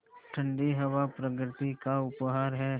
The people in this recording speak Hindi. ठण्डी हवा प्रकृति का उपहार है